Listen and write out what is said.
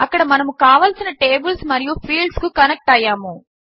అక్కడ మనము కావలసిన టేబుల్స్ మరియు ఫీల్డ్స్ కు కనెక్ట్ అయ్యాము